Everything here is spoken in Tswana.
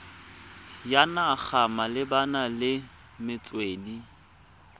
ya naga malebana le metswedi